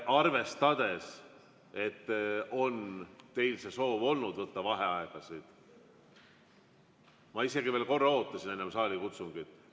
Arvestades, et teil on soov võtta vaheaegasid, ma isegi veel korra ootasin enne saalikutsungit.